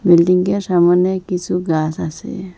বিল্ডিংয়ের সামোনে কিসু গাস আসে।